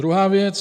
Druhá věc.